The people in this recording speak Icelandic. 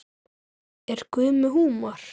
Er Guð með húmor?